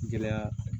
Gɛlɛya